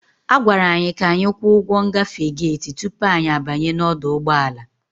A gwara anyị ka anyị kwụọ ụgwọ ngafe gate tupu anyị abanye n'ọdụ ụgbọ ala.